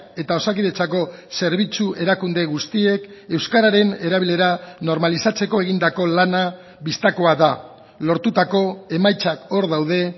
eta osakidetzako zerbitzu erakunde guztiek euskararen erabilera normalizatzeko egindako lana bistakoa da lortutako emaitzak hor daude